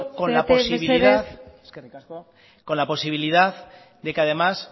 zarete mesedez eskerrik asko con la posibilidad de que además